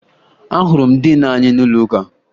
Ahụrụ m diin anyị n'ụlọụka